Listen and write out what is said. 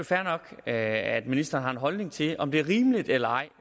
fair nok at ministeren har en holdning til om det er rimeligt eller ej